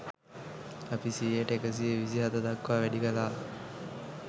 අපි සියයට එකසිය විසි හත දක්වා වැඩි කළා